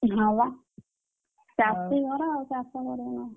ହଁ ବା ଚାଷୀ ଘର ଆଉ ଚାଷ କରିବୁନୁ ନା?